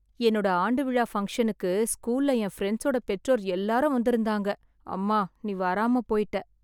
என்னோட ஆண்டு விழா ஃபங்ஷனுக்கு ஸ்கூல்ல என் ஃப்ரெண்ட்ஸ் -ஓட பெற்றோர் எல்லாரும் வந்திருந்தாங்க. அம்மா நீ வராம போயிட்ட.